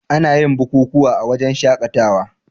Anayin bukukuwa a wajan shakatawa